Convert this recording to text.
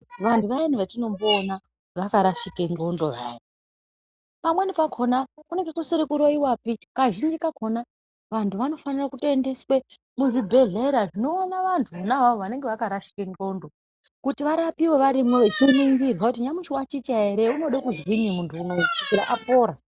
Vanhu vayani vatinomboona vakarashike ngqondo vaya, pamweni pakona kunenge kusiri kuroyiwa pii. Kazhinji kwakona vantu vanofanira kutoendeswe muzvibhedlera zvinowona vanhu wona iwawo vanenge vakarasike nqondo kuti varapiwe varimo vechirumbirwa kutivanotaticha here unodekuzwii muntu iyeye kusvika apora.